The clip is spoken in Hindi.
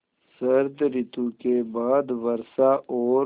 शरत ॠतु के बाद वर्षा और